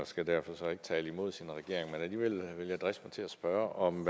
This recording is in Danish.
skal derfor ikke tale imod sin regering men alligevel vil jeg driste mig til at spørge om